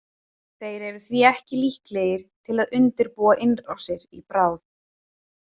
Þeir eru því ekki líklegir til að undirbúa innrásir í bráð.